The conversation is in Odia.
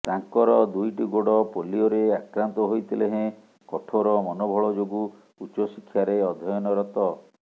ତାଙ୍କର ଦୁଇଟି ଗୋଡ ପୋଲିଓରେ ଆକ୍ରାନ୍ତ ହୋଇଥିଲେ ହେଁ କଠୋର ମନୋବଳ ଯୋଗୁଁ ଉଚ୍ଚଶିକ୍ଷାରେ ଅଧ୍ୟୟନରତ